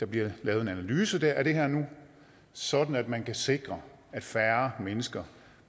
bliver lavet en analyse af det her sådan at man kan sikre at færre mennesker